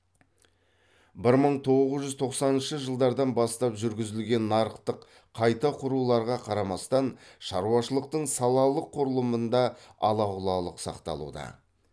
бір мың тоғыз жүз тоқсаныншы жылдардан бастап жүргізілген нарықтық қайта құруларға қарамастан шаруашылықтың салалық құрылымында ала құлалық сақталуда